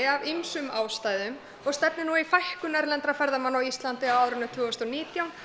af ýmsum ástæðum og stefnir nú í fækkun erlendra ferðamanna á Íslandi árið tvö þúsund og nítján